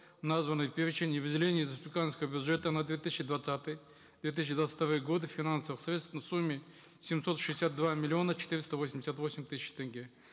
в названный перечень и выделения из республиканского бюджета на две тысячи двадцатый две тысячи двадцать вторые годы финансовых средств в сумме семьсот шестьдесят два миллиона четыреста восемьдесят восемь тысяч тенге